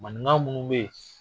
Maninka munnu bɛ ye.